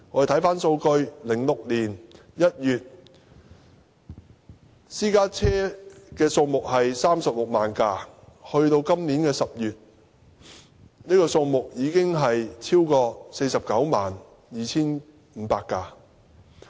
查看數據 ，2006 年1月，領牌私家車數目為36萬輛，而去年10月，這個數字已超過 492,500 輛。